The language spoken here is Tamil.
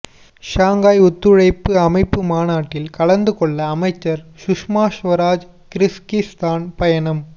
ஷாங்காய் ஒத்துழைப்பு அமைப்பு மாநாட்டில் கலந்து கொள்ள அமைச்சர் சுஷ்மா ஸ்வராஜ் கிர்கிஸ்தான் பயணம்